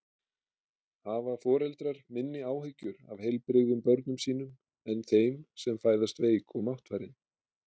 Hafa foreldrar minni áhyggjur af heilbrigðum börnum sínum en þeim sem fæðast veik og máttfarin?